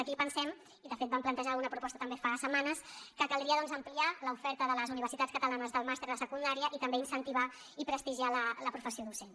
aquí pensem i de fet vam plantejar una proposta també fa setmanes que caldria doncs ampliar l’oferta de les universitats catalanes del màster de secundària i també incentivar i prestigiar la professió docent